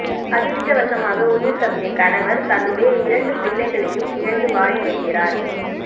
அதிர்ஷ்டவசமாக உயிர் தப்பிய கணவர் தன்னுடைய இரண்டு பிள்ளைகளையும் இழந்து வாடி வருகிறார்